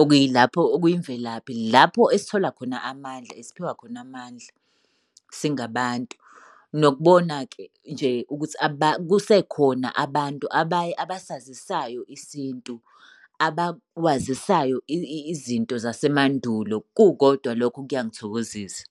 Okuyilapho okuyimvelaphi lapho esithola khona amandla, esiphiwa khona amandla singabantu. Nokubona-ke nje ukuthi kusekhona abantu abaye abasazisayo isintu, abakwazisayo izinto zasemandulo. Kukodwa lokho kuyangithokozisa.